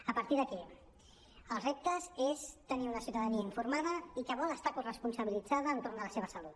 a partir d’aquí el repte és tenir una ciutadania informada i que vol estar coresponsabilitzada entorn de la seva salut